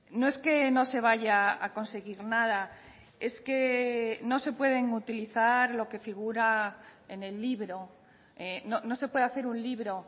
no es que no se vaya a conseguir nada es que no se pueden utilizar lo que figura en el libro no se puede hacer un libro